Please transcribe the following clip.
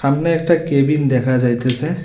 সামনে একটা কেবিন দেখা যাইতেসে।